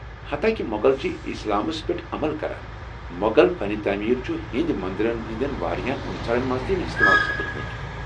حتاکہ مۄغل چھ اسلامس پیٚٹھ عمل کران، مۄغل فن تعمیر چھٗ ہیٚنٛدِ مندرن ہٕنٛدِ واریاہ عنصر تہ استعمال کران ۔